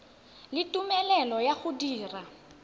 le tumelelo ya go dira